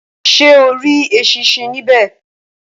Ṣé o rí eṣinṣin nibe